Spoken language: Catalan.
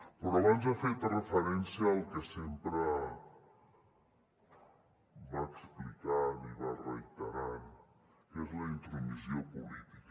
però abans ha fet referència al que sempre va explicant i va reiterant que és la intromissió política